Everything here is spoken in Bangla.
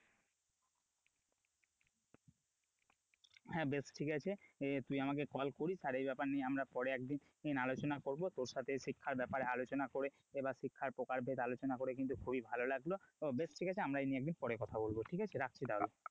হ্যাঁ বেশ ঠিক আছে, তুই আমাকে call করিস আর এই ব্যাপার নিয়ে আমরা পরে একদিন আলোচনা করব তোর সাথে শিক্ষার ব্যাপারে আলোচনা করে এবার শিক্ষার প্রকার আলোচনা করে কিন্তু খুবই ভালো লাগলো, বেশ ঠিক আছে আমরা এই নিয়ে একদিন পরে কথা বলব, ঠিক আছে রাখছি তাহলে,